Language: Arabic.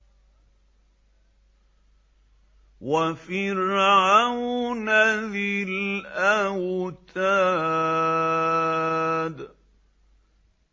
وَفِرْعَوْنَ ذِي الْأَوْتَادِ